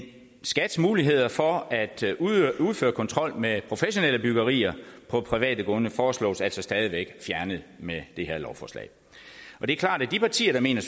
skats muligheder for at udføre kontrol med professionelle byggerier på private grunde foreslås altså stadig væk fjernet med det her lovforslag og det er klart at de partier der mener